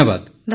ଧନ୍ୟବାଦ